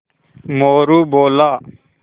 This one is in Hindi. मोरू बोला